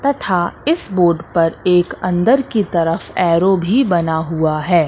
तथा इस बोर्ड पर एक अंदर की तरफ आरो भी बना हुआ है।